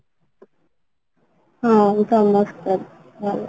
ହଁ, ସମସ୍ତେ ଭଲ